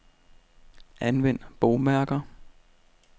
Anvend bogmærker.